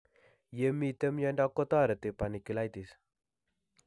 Ye mito miondo ko tareti panniculitis